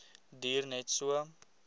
duur net so